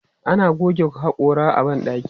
Ana goge haƙora a ban ɗaki.